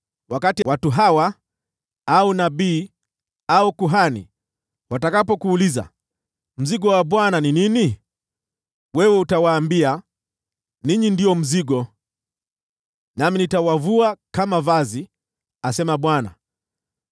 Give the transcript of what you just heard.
“Wakati watu hawa, au nabii, au kuhani watakapokuuliza, ‘Mzigo wa Bwana ni nini?’ wewe utawaambia, ‘Ninyi ndio mzigo. Nami nitawavua kama vazi, asema Bwana .’